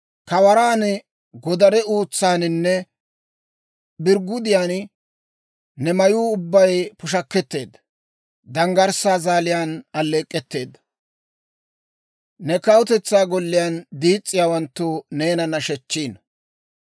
Kawaraan, godare uutsaaninne birggudiyaan, ne mayuu ubbay pushakketteedda. Danggarssaa zaaliyaan alleek'k'etteedda, ne kawutetsaa golliyaan diis's'iyaawanttu neena nashechchiino.